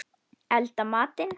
Elda matinn.